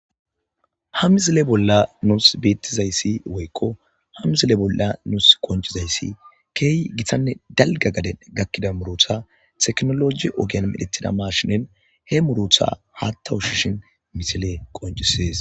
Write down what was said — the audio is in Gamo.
Ha misile bolla nuus beettizayssi woykko ha mizile bolla nuus qonccizayssi keehi gitanne dalga gade gakkida murota teknoloji ogiyan midhetida maashinen he murotha haattawushishin misile qonccisees.